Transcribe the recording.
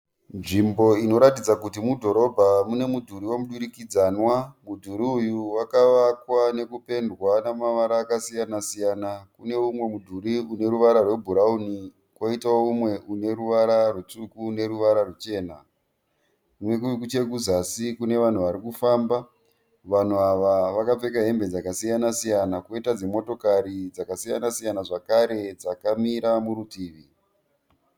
Nevimbo inoratidza kuti mudhorobha mune mudhuri wemudurikidzanwa. Mudhuri uyu wakavakwa nekupendwa nemavara akasiyana siyana. Kune mumwe mudhuri uneruvara rwe bhurauni koitawo mumwe uneruvara rutsvuku neruvara ruchena. Nechekuzasi kune vanhu varikufamba. Vanhu ava vakapfeka hembe dzakasiyana siyana koita dzimotokari dzakasiyana siyana zvakare dzakamira murutivi.